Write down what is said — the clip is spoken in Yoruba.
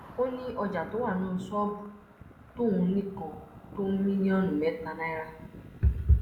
ó ní ọjà tó wà nínú ṣọọbù tóun nìkan tó mílíọnù mẹta náírà